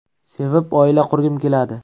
Sevib oila qurgim keladi.